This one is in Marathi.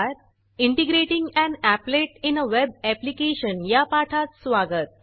integrating an applet in a web application या पाठात स्वागत